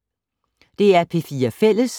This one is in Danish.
DR P4 Fælles